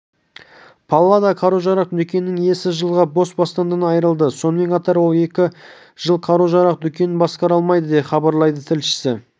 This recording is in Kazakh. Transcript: паллада қару-жарақ дүкенінің иесі жылға бас бостандығынан айрылды сонымен қатар ол екі жыл қару-жарақ дүкенін басқара алмайды деп хабарлайды тілшісі